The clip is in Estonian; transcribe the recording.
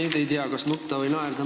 Ma nüüd ei tea, kas nutta või naerda.